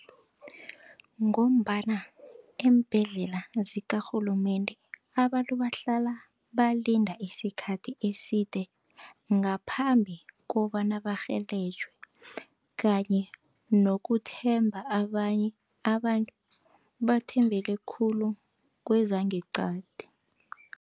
Ngombana eembhedlela zikarhulumende abantu bahlala balinde isikhathi eside ngaphambi kobana barhelejwe kanye nokuthemba abanye abantu bathembele khulu kwezangeqadi.